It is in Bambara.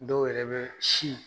Dɔw yɛrɛ bɛ